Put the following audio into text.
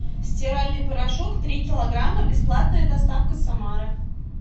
стиральный порошок три килограмма бесплатная доставка самара